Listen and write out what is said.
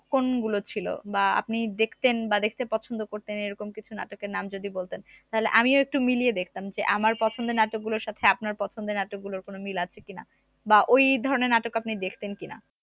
কোনগুলো ছিল বা আপনি দেখতেন বা দেখতে পছন্দ করতেন এরকম কিছু নাটকের নাম যদি বলতেন তাহলে আমিও একটু মিলিয়ে দেখতাম যে আমার পছন্দের নাটক গুলোর সাথে আপনার পছন্দের নাটকগুলোর কোন মিল আছে কি না বা ওই ধরনের নাটক আপনি দেখতেন কিনা